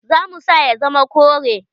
Za mu sa ya zama kore.